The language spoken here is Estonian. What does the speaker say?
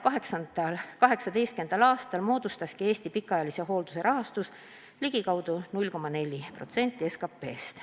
2018. aastal moodustaski Eestis pikaajalise hoolduse rahastus ligikaudu 0,4% SKP-st.